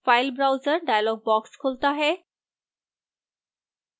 file browser dialog box खुलता है